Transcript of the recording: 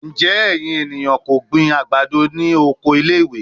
Njẹ ẹyin eniyan ko gbin agbado ni oko ile-iwe?